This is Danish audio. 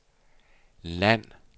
land